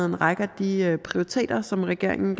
en række af de prioriteter som regeringen